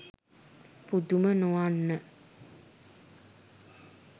පුදුම නොවන්න